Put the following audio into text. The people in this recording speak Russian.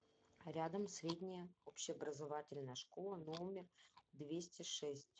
рядом средняя общеобразовательная школа номер двести шесть